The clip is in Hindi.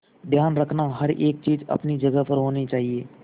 ध्यान रखना हर एक चीज अपनी जगह पर होनी चाहिए